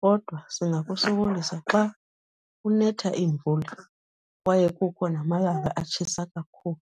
Kodwa singakusokolisa xa kunetha iimvula kwaye kukho namalanga atshisa kakhulu.